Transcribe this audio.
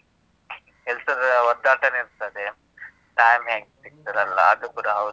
ಕೆಲ್ಸದ ಒದ್ದಾಟನೇ ಇರ್ತದೆ. time ಹೇಗ್ ಸಿಗ್ತದೆ ಅಲ್ಲಾ? ಅದು ಕೂಡ ಹೌದು.